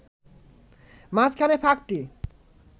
মাঝখানের ফাঁকটি